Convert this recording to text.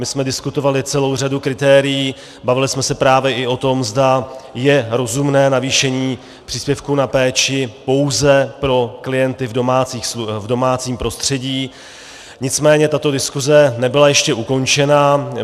My jsme diskutovali celou řadu kritérií, bavili jsme se právě i o tom, zda je rozumné navýšení příspěvku na péči pouze pro klienty v domácím prostředí, nicméně tato diskuse nebyla ještě ukončena.